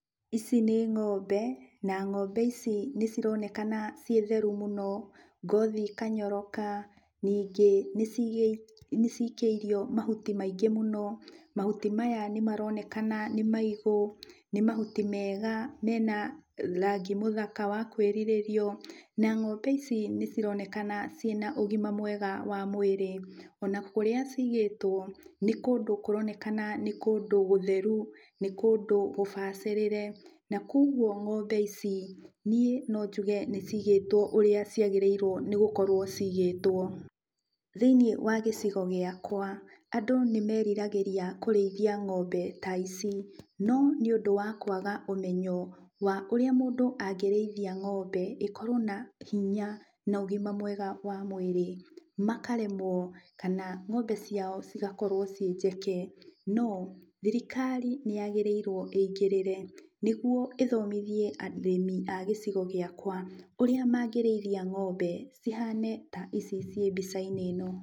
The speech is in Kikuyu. Ici nĩ ng'ombe na ng'ombe ici nĩcironekana ciĩ theru mũno, ngothi ĩkanyoroka, ningĩ nĩcikĩirio mahuti maingĩ mũno. Mahuti maya nĩmaronekana nĩ maigũ, nĩ mahuti mega mena rangi mũthaka wa kwĩrirĩrio, na ng'ombe ici nĩcironekana ciĩna ũgima mwega wa mwĩrĩ. Ona kũrĩa cigĩtwo nĩ kũndũ kũronekana nĩ kũndũ gũtheru, nĩ kũndũ gũbacĩrĩre, na kuoguo ng'ombe ici, niĩ no njuge nĩcigĩtwo ũrĩa ciagĩrĩirwo nĩgũkorwo cigĩtwo. Thĩiniĩ wa gĩcigo gĩakwa, andũ nĩmeriragĩria kũrĩithia ng'ombe ta ici, no nĩũndũ wa kwaga ũmenyo wa ũrĩa mũndũ angĩrĩithia ng'ombe ĩkorwo na hinya na ũgima mwega wa mwĩrĩ, makaremwo kana ng'ombe ciao cigakorwo ciĩ njeke, no thirikari nĩyagĩrĩirwo ĩingĩrĩre, nĩguo ĩthomithie arĩmi a gĩcigo gĩakwa, ũrĩa mangĩrĩithia ng'ombe cihane ta ici ciĩ mbica-inĩ ĩno.